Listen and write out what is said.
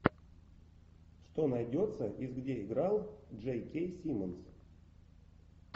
что найдется из где играл джей кей симмонс